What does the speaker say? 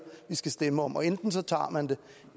vi skal stemme om og enten tager tager man det